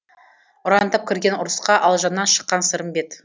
ұрандап кірген ұрысқа алжаннан шыққан сырымбет